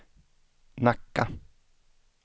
Nacka